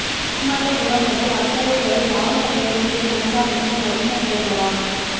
மாமல்லபுரம் முதல் அக்கரை வரை வாகன வேகத்தை கண்காணிக்க நவீன கேமரா